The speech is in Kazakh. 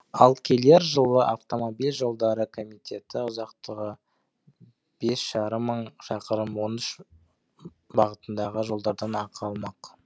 ал келер жылы автомобиль жолдары комитеті ұзақтығы бес жарым мың шақырым он үш бағытындағы жолдардан ақы алмақ